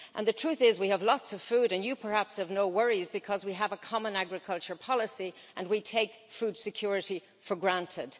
The truth is we have lots of food, and you perhaps have no worries because we have a common agricultural policy and we take food security for granted.